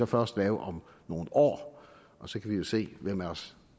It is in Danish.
først lave om nogle år og så kan vi jo se hvem af os